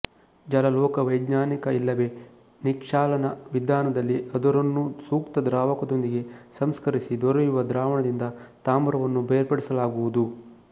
ಜಲಲೋಹವೈಜ್ಞಾನಿಕ ಇಲ್ಲವೇ ನಿಕ್ಷಾಲನ ವಿಧಾನದಲ್ಲಿ ಅದುರನ್ನು ಸೂಕ್ತ ದ್ರಾವಕದೊಂದಿಗೆ ಸಂಸ್ಕರಿಸಿ ದೊರೆಯುವ ದ್ರಾವಣದಿಂದ ತಾಮ್ರವನ್ನು ಬೇರ್ಪಡಿಸಲಾಗುವುದು